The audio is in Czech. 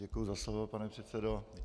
Děkuji za slovo, pane předsedo.